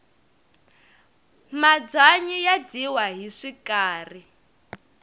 mabyanyi ya dyiwa hi swikari